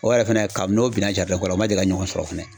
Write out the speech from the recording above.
O yɛrɛ fɛnɛ ka bi n'o bina kɔnɔ o ma deli ka ni ɲɔgɔn sɔrɔ fɛnɛ.